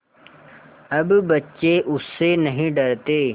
अब बच्चे उससे नहीं डरते